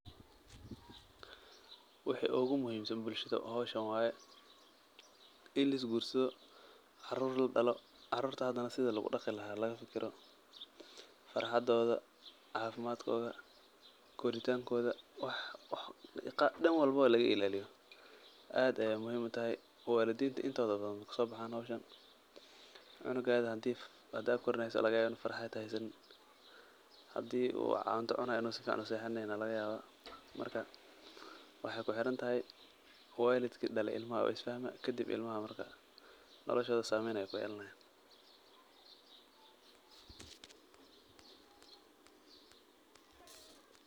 Wixi ugu muhimsan bulshada hooshan waye, ini lisguursadoh, carur ladaloh, caruurta handanah sethi lagu daqii lahay laga fikeroh fatxadootha cafimadkotha, koritangotha wax Dan walbo laga ilaliyah aad Aya muhim utahaya walideenta intotha bathan maxa hooshan cunugatha handa karineysoh waxa laga yabah ini farxaada aat haysanin handiboo cuntaha cunayoh ini sufacan u sexaneynin Aya lagayabah marka waxay kuxeeranthaya, waalidka dalay ilmahaa ixsaan kadib ilmaha marka nolosha sameeyn Aya kuyelanayin .